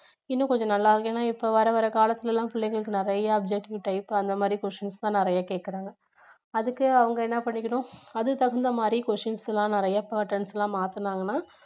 இன்னும் கொஞ்சம் நல்லா இப்போ வரவர காலத்துல எல்லாம் பிள்ளைங்களுக்கு நிறைய objective type அந்த மாதிரி questions தான் நிறைய கேக்கிறாங்க அதுக்கு அவங்க என்ன பண்ணிக்கணும் அது தகுந்த மாதிரி questions எல்லாம் நிறைய patterns எல்லாம் மாத்துனாங்கண்ணா